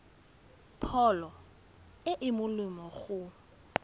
pholo e e molemo go